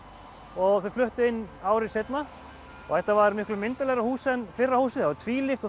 og þau fluttu inn ári seinna þetta var miklu myndarlegra hús en fyrra húsið það var tvílyft